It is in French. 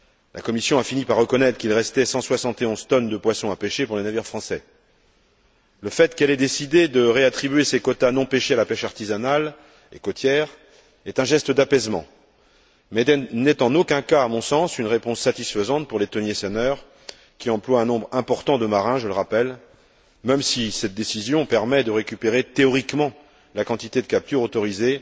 La Commission a fini par reconnaître qu'il restait 171 tonnes de poisson à pêcher pour les navires français. Le fait qu'elle ait décidé de réattribuer ces quotas non pêchés à la pêche artisanale et côtière est un geste d'apaisement mais n'est, en aucun cas, à mon sens, une réponse satisfaisante pour les thoniers senneurs qui emploient un nombre important de marins, je le rappelle, même si cette décision permet de récupérer théoriquement la quantité de captures autorisée